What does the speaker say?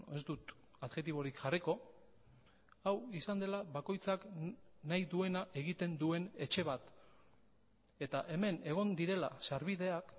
ez dut adjektiborik jarriko hau izan dela bakoitzak nahi duena egiten duen etxe bat eta hemen egon direla sarbideak